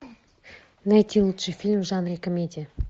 найти лучший фильм в жанре комедия